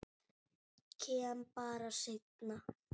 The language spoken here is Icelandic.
Kem bara seinna.